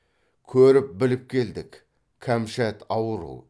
көріп біліп келдік кәмшат ауру